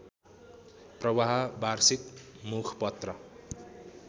प्रवाह वार्षिक मुखपत्र